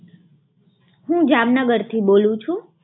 હું જામનગરથી બોલું છું.